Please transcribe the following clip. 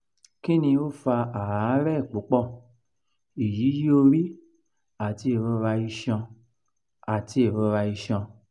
kini o fa aarẹ pupọ iyiyi ori ati irora iṣan? ati irora iṣan?